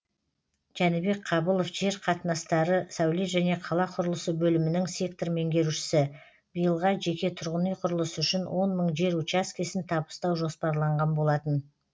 жәнібек қабылов жер қатынастары сәулет және қала құрылысы бөлімінің сектор меңгерушісі биылға жеке тұрғын үй құрылысы үшін он мың жер учаскесін табыстау жоспарланған болатын